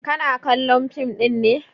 Kana kallon fim ɗin ne?